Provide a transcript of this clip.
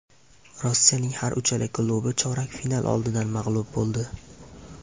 Rossiyaning har uchala klubi chorak final oldidan mag‘lub bo‘ldi.